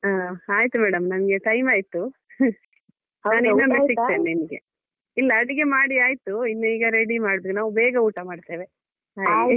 ಹಾ ಆಯ್ತು madam ನನ್ಗೆ time ಆಯ್ತು ನಾನು ಇನ್ನೊಮ್ಮೆ ಸಿಗ್ತೇನೆ ನಿಮ್ಗೆ. ಇಲ್ಲ ಅಡಿಗೆ ಮಾಡಿ ಆಯ್ತು ಇನ್ನು ಈಗ ready ಮಾಡ್ಬೇಕು ನಾವು ಬೇಗ ಊಟ ಮಾಡ್ತೇವೆ ಹಾಗೆ.